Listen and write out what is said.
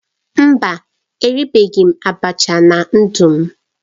Mba, eribeghị m abacha na ndu m